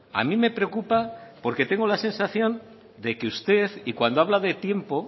a mí me preocupa porque tengo la sensación de que usted y cuando habla de tiempo